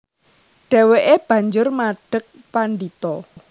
Dhèwèké banjur madheg pandhita